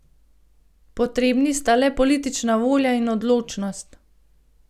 Potrebni sta le politična volja in odločnost.